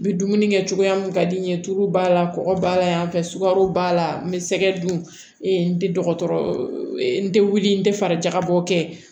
N bɛ dumuni kɛ cogoya mun ka di n ye tulu b'a la kɔgɔ b'a la yan fɛ sukaro b'a la n bɛ sɛgɛ dun n tɛ dɔgɔtɔrɔ n tɛ wuli n tɛ farajabɔ kɛ